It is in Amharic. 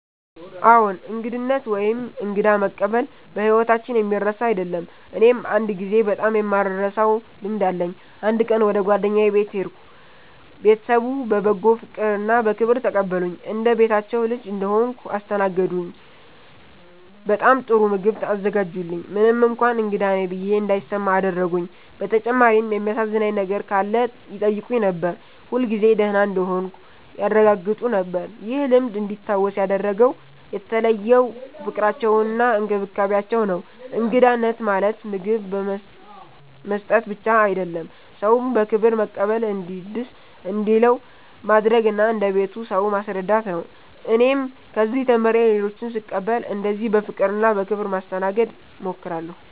አዎን፣ እንግዳነት ወይም እንግዳ መቀበል በሕይወታችን የሚረሳ አይደለም። እኔም አንድ ጊዜ በጣም የማልረሳውን ልምድ አለኝ። አንድ ቀን ወደ ጓደኛዬ ቤት ሄድሁ። ቤተሰቡ በበጎ ፍቅርና በክብር ተቀበሉኝ። እንደ ቤታቸው ልጅ እንደሆንሁ አስተናገዱኝ፤ በጣም ጥሩ ምግብ አዘጋጁልኝ፣ ምንም እንኳን እንግዳ ነኝ ብዬ እንዳይሰማ አደረጉኝ። በተጨማሪም የሚያሳዝነኝ ነገር ካለ ይጠይቁኝ ነበር፣ ሁልጊዜ ደህና እንደሆንሁ ያረጋግጡ ነበር። ይህ ልምድ እንዲታወስ ያደረገው የተለየው ፍቅራቸውና እንክብካቤያቸው ነው። እንግዳነት ማለት ምግብ መስጠት ብቻ አይደለም፤ ሰውን በክብር መቀበል፣ እንዲደስ እንዲለው ማድረግ እና እንደ ቤቱ ሰው ማስረዳት ነው። እኔም ከዚህ ተምሬ ሌሎችን ስቀበል እንደዚህ በፍቅርና በክብር ለማስተናገድ እሞክራለሁ።